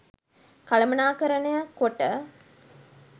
කළමනාකරණය කොට